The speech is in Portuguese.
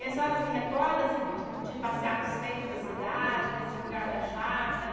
E a senhora se recorda assim de de passear no centro da cidade, nesse lugar da chácara?